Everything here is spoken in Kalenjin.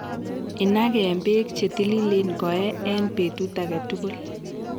inaken beek che tililen koe eng betut age tugul.